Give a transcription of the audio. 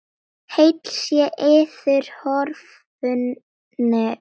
Heill sé yður, horfnu vinir!